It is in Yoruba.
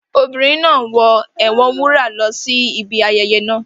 The children are playing with their mother's gele